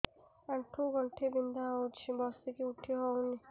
ଆଣ୍ଠୁ ଗଣ୍ଠି ବିନ୍ଧା ହଉଚି ବସିକି ଉଠି ହଉନି